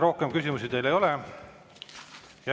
Rohkem küsimusi teile ei ole.